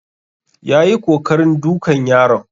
Yayi kokarin dukan yaron